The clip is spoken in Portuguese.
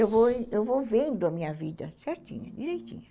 Eu vou vou vendo a minha vida certinha, direitinha.